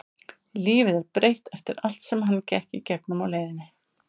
Lífið er breytt eftir allt sem hann gekk í gegnum á leiðinni.